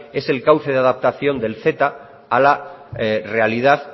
es el cauce de adaptación del ceta a la realidad